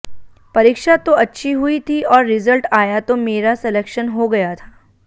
परीक्षा तो अच्छी हुई थी और रिजल्ट आया तो मेरा सेलेक्शन हो गया था